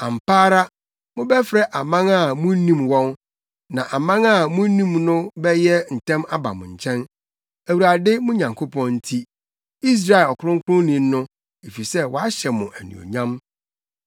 Ampa ara mobɛfrɛ aman a munnim wɔn, na aman a munnim no bɛyɛ ntɛm aba mo nkyɛn, Awurade, mo Nyankopɔn nti, Israel Ɔkronkronni no, efisɛ wahyɛ mo anuonyam.”